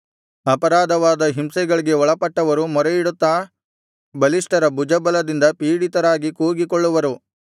ಅಪಾರವಾದ ಹಿಂಸೆಗಳಿಗೆ ಒಳಪಟ್ಟವರು ಮೊರೆಯಿಡುತ್ತಾ ಬಲಿಷ್ಠರ ಭುಜಬಲದಿಂದ ಪೀಡಿತರಾಗಿ ಕೂಗಿಕೊಳ್ಳುವರು